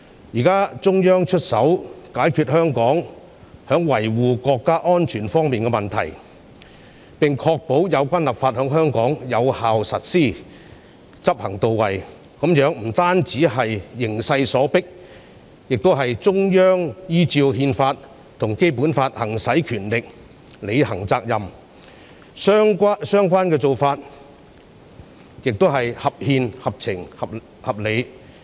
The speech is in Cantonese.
現在中央出手解決香港在維護國家安全方面的問題，並確保有關立法在香港有效實施，執行到位，這不單是形勢所迫，亦是中央依照憲法及《基本法》行使權力，履行責任，相關做法亦合憲、合情、合理。